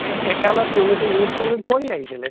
এ একালত তেওঁলোক ইংৰাজীৰতো already পঢ়ি আহিছেলে